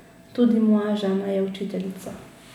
Tudi moja žena je učiteljica.